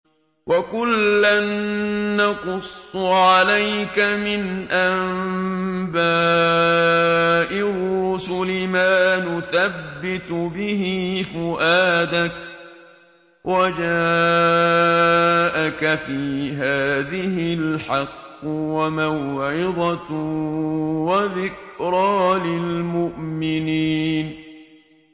وَكُلًّا نَّقُصُّ عَلَيْكَ مِنْ أَنبَاءِ الرُّسُلِ مَا نُثَبِّتُ بِهِ فُؤَادَكَ ۚ وَجَاءَكَ فِي هَٰذِهِ الْحَقُّ وَمَوْعِظَةٌ وَذِكْرَىٰ لِلْمُؤْمِنِينَ